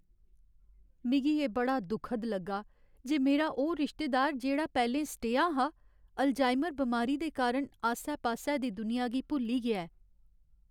मिगी एह् बड़ा दुखद लग्गा जे मेरा ओह् रिश्तेदार जेह्ड़ा पैह्लें सटेहा हा, अल्जाइमर बमारी दे कारण आस्सै पास्सै दी दुनिया गी भुल्ली गेआ ऐ।